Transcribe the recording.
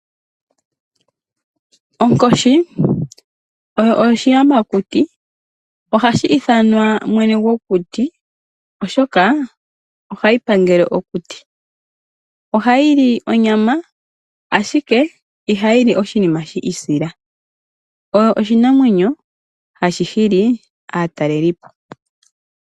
Onkoshi oyo oshiyamakuti. Ohashi ithanwa mwene gokuti, oshoka ohayi pangele okuti. Ohayi li onyama, ashike ihayi li oshinima shi isila. Oyo oshinamwemyo hashi hili aataleli po.